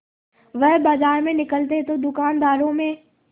वह बाजार में निकलते तो दूकानदारों में